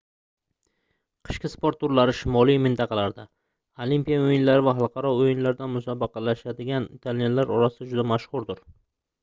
qishki sport turlari shimoliy mintaqalarda olimpiya oʻyinlari va xalqaro oʻyinlarda musobaqalashadigan italyanlar orasida juda mashhurdir